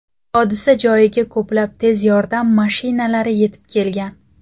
Hodisa joyiga ko‘plab tez yordam mashinalari yetib kelgan.